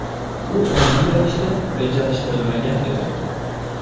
U ongli ravishda rejalashtirilmagan edi.